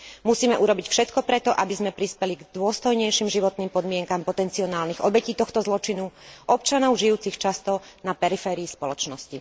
Musíme urobiť všetko preto, aby sme prispeli k dôstojnejším životným podmienkam potenciálnych obetí tohto zločinu, občanov žijúcich často na periférii spoločnosti.